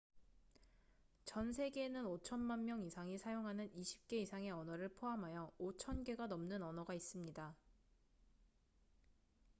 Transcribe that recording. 전 세계에는 5천만 명 이상이 사용하는 20개 이상의 언어를 포함하여 5,000개가 넘는 언어가 있습니다